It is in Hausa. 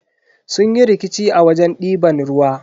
Sun yi rikici a wajen diban ruwa.